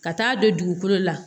Ka taa don dugukolo la